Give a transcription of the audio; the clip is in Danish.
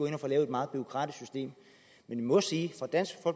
ikke får lavet et meget bureaukratisk system vi må sige